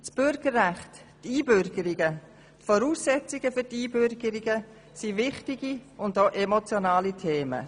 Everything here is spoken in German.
Das Bürgerrecht, die Einbürgerungen und die Voraussetzungen für die Einbürgerung sind wichtige und emotionale Themen.